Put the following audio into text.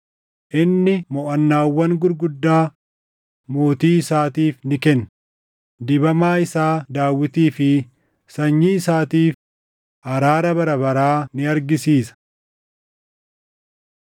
“Inni moʼannaawwan gurguddaa mootii isaatiif ni kenna; dibamaa isaa Daawitii fi sanyii isaatiif, araara bara baraa ni argisiisa.”